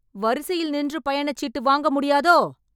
வரிசையில் நின்று பயணச்சீட்டு வாங்க முடியாதோ?